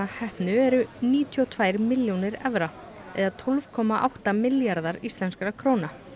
heppnu eru níutíu og tvær milljónir evra eða tólf komma átta milljarðar íslenskra króna